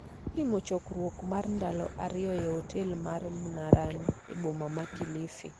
Bang' timo chokruok mar ndalo ariyo e otel mar Mnarani e boma ma Kilifi,